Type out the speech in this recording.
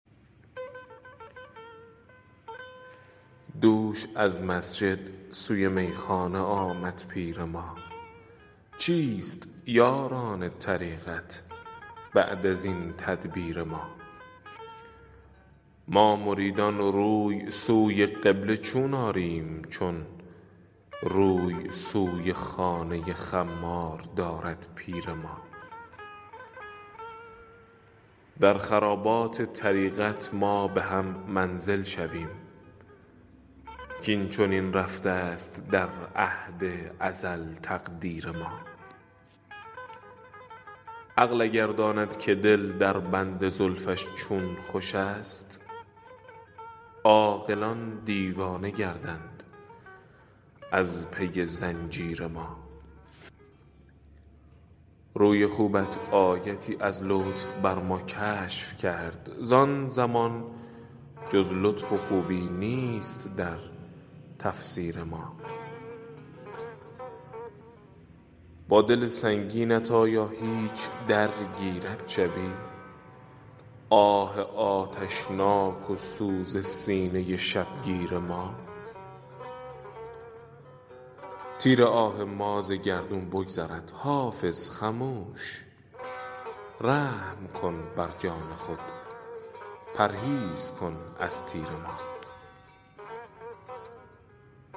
دوش از مسجد سوی میخانه آمد پیر ما چیست یاران طریقت بعد از این تدبیر ما ما مریدان روی سوی قبله چون آریم چون روی سوی خانه خمار دارد پیر ما در خرابات طریقت ما به هم منزل شویم کاین چنین رفته است در عهد ازل تقدیر ما عقل اگر داند که دل در بند زلفش چون خوش است عاقلان دیوانه گردند از پی زنجیر ما روی خوبت آیتی از لطف بر ما کشف کرد زان زمان جز لطف و خوبی نیست در تفسیر ما با دل سنگینت آیا هیچ درگیرد شبی آه آتشناک و سوز سینه شبگیر ما تیر آه ما ز گردون بگذرد حافظ خموش رحم کن بر جان خود پرهیز کن از تیر ما